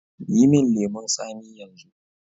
Yi min lemun tsami yanzu